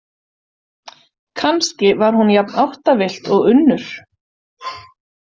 Kannski var hún jafn áttavillt og Unnur.